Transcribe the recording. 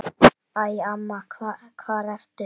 Æ, amma hvar ertu?